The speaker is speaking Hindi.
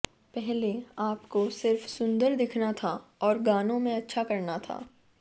पहले आपको सिर्फ सुंदर दिखना था और गानों में अच्छा करना था